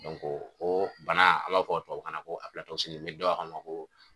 oo bana a l'ɔ fɔ tubabukan na ko ni dɔw a f'a ma ko